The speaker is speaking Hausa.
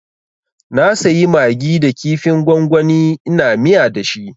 Na sayi magi da kifin gwangwani ina miya dashi